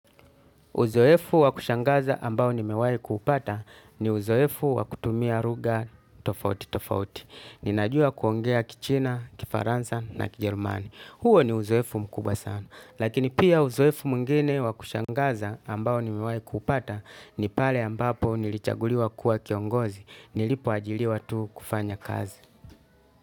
Uzoefu wa kushangaza ambao nimewai kuupata ni uzoefu wa kutumia ruga tofauti tofauti. Ninajua kuongea kichina, kifaransa na kijerumani. Huo ni uzoefu mkubwa sana. Lakini pia uzoefu mungine wa kushangaza ambao nimewai kuupata ni pale ambapo nilichaguliwa kuwa kiongozi. Nilipo ajiliwa tu kufanya kazi.